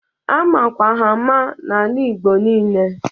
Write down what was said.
A makwa ha ama ọfụma n'ala igbo nile.